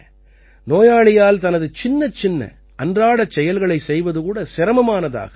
நோயாளியால் தனது சின்னச்சின்ன அன்றாடச் செயல்களைச் செய்வது கூட சிரமமானதாகிறது